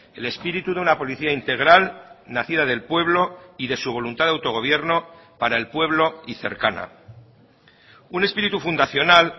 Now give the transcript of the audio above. el espíritu de una policía integral nacida del pueblo y de su voluntad de autogobierno para el pueblo y cercana un espíritu fundacional